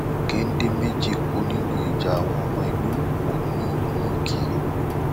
gèdè méjì kú nínú ìjà àwọn ọmọ ẹgbẹ òkùnkùn ní ní ìkéré